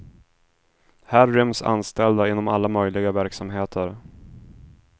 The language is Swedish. Här ryms anställda inom alla möjliga verksamheter.